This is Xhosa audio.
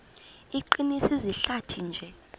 iqinise izihlathi nje